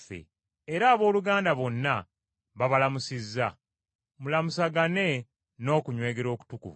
Era abooluganda bonna babalamusizza. Mulamusagane mu n’okunywegera okutukuvu.